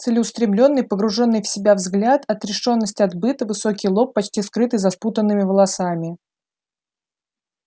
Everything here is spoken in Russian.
целеустремлённый погруженный в себя взгляд отрешённость от быта высокий лоб почти скрытый за спутанными волосами